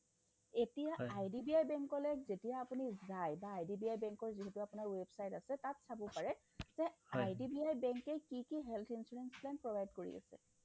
এতিয়া IDBI bank লে যেতিয়া আপুনি যায় বা IDBI bank ৰ যিহেতু আপোনাৰ website আছে তাত চাব পাৰে যে IDBI bank য়ে কি কি health insurance plan provide কৰি আছে